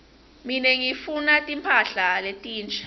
mine ngifuna timphahla letinsha